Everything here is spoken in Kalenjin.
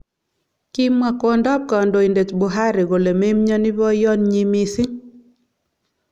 Kimwa kwondo ab kandoindet Buhari kole memnyoni boyot nyi mising.